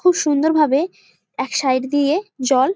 খুব সুন্দর ভাবে এক সাইড দিয়ে জল।